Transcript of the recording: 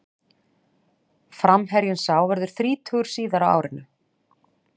Framherjinn sá verður þrítugur síðar á árinu.